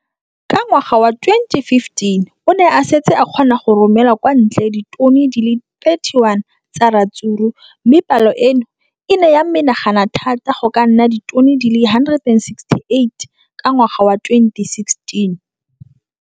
Ka ngwaga wa 2015, o ne a setse a kgona go romela kwa ntle ditone di le 31 tsa ratsuru mme palo eno e ne ya menagana thata go ka nna ditone di le 168 ka ngwaga wa 2016.